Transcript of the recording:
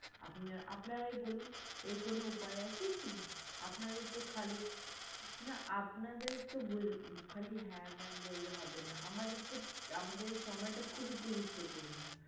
আপনা~আপনারাই বলুন এর কোনো উপায় আছে কি? আপনাদের তো খালি না আপনাদের তো খালি হ্যাঁ ma'am বললে হবেনা আমাদের সময়টা খুবই গুরুত্বপূর্ণ।